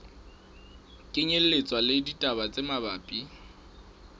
kenyelletswa le ditaba tse mabapi